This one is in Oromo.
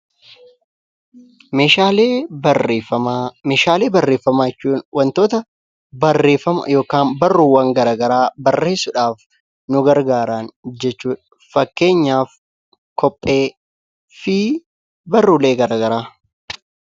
Meeshaalee barreeffamaa jechuun wantoota barreeffama yookaan barruuwwan garaa garaa barreessuudhaaf nu gargaaran jechuudha. Fakkeenyaaf kophee fi barruulee garaa garaa.